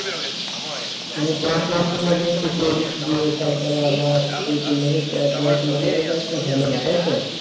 মানে পড়াশুনা থেকে একবার seat গিয়ে তারপরে আবার দুই তিন বছর পর পড়াশোনা হয়েই তো একটা ঝামেলা তাই তো